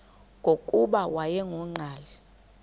nokuba wayengu nqal